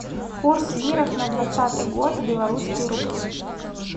курс лирах на двадцатый год белорусские рубли